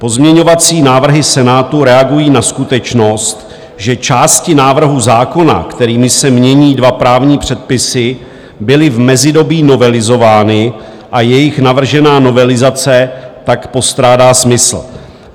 Pozměňovací návrhy Senátu reagují na skutečnost, že části návrhu zákona, kterými se mění dva právní předpisy, byly v mezidobí novelizovány a jejich navržená novelizace tak postrádá smysl.